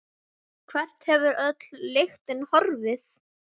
Hvert hefur öll lyktin horfið?